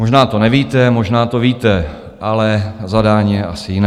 Možná to nevíte, možná to víte, ale zadání je asi jiné.